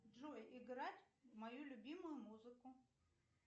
джой играть мою любимую музыку